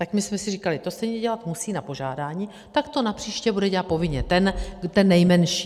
Tak my jsme si říkali: to stejně dělat musí na požádání, tak to napříště bude dělat povinně ten nejmenší.